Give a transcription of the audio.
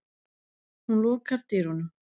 Hún lokar dyrunum.